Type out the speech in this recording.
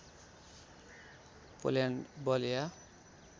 Poland बल या